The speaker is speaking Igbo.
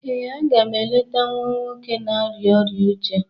ee, a ga m eleta nwa nwoke na-arịa ọrịa uche